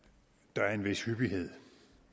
der er en vis hyppighed